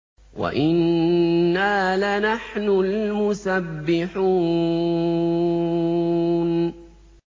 وَإِنَّا لَنَحْنُ الْمُسَبِّحُونَ